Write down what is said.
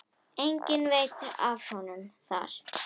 Enginn veit af honum þar.